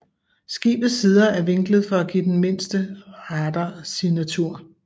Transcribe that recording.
Skibets sider er vinklet for give den mindste radarsignatur